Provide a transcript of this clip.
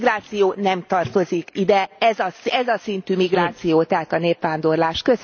A migráció nem tartozik ide, ez a szintű migráció, tehát a népvándorlás.